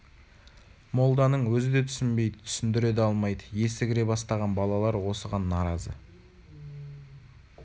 молданың өзі де түсінбейді түсіндіре де алмайды есі кіре бастаған балалар осыған наразы